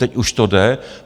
Teď už to jde.